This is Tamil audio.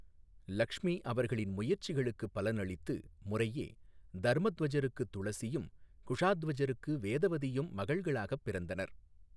லக்ஷ்மி அவர்களின் முயற்சிகளுக்குப் பலனளித்து முறையே தர்மத்வஜருக்கு துளசியும், குஷாத்வஜருக்கு வேதவதியும் மகள்களாகப் பிறந்தனர்.